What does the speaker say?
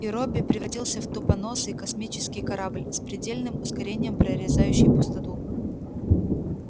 и робби превратился в тупоносый космический корабль с предельным ускорением прорезающий пустоту